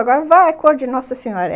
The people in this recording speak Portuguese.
Agora vai, é cor de Nossa Senhora.